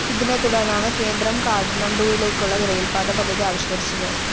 ഇതിനെ തുടര്‍ന്നാണ് കേന്ദ്രം കാഠ്മണ്ഡുവിലേക്കുള്ള റെയില്‍പാത പദ്ധതി ആവിഷ്‌കരിച്ചത്